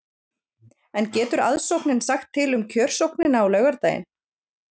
En getur aðsóknin sagt til um kjörsóknina á laugardaginn?